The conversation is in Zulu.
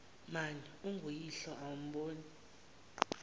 mani unguyihlo awumboni